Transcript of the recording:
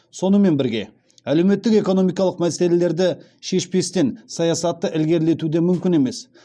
сонымен бірге әлеуметтік экономикалық мәселелерді шешпестен саясатты ілгерілету де мүмкін емес